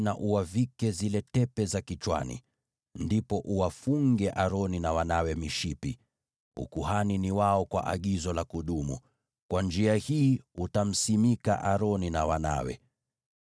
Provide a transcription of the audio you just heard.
pia uwavike zile tepe za kichwani. Ndipo uwafunge Aroni na wanawe mishipi. Ukuhani ni wao kwa agizo la kudumu. Kwa njia hii utamweka wakfu Aroni na wanawe.